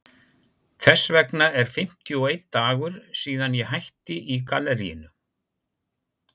Þess vegna er fimmtíu og einn dagur síðan ég hætti í galleríinu.